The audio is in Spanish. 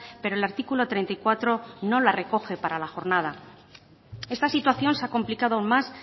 pero el artículo treinta y cuatro no la recoge para la jornada esta situación se ha complicado más